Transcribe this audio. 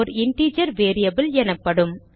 ஓர் integer variable எனப்படும்